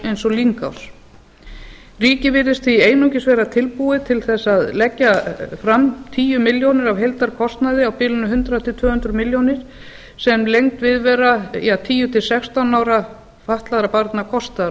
eins og lyngás ríkið virðist því einungis vera tilbúið til að leggja fram tíu milljónir af heildarkostnaði á bilinu hundrað til tvö hundruð milljóna sem lengd viðvera tíu til sextán ára fatlaðra barna kostar